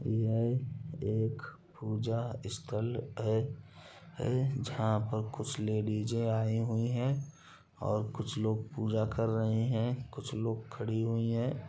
यह एक पूजा स्थल है है जहाँ पर कुछ लेडीजे आई हुई है| और कुछ लोग पूजा कर रहे हैं कुछ लोग खड़ी हुई है।